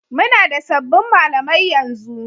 Muna da sabbin malamai yanzu.